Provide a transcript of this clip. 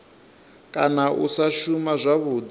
kana u sa shuma zwavhudi